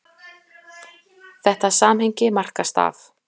Þetta samhengi markast af